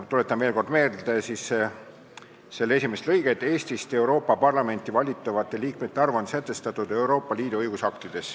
Tuletan veel kord meelde, et § 2 esimene lõige muudetuna kõlab nii: "Eestist Euroopa Parlamenti valitavate liikmete arv on sätestatud Euroopa Liidu õigusaktides.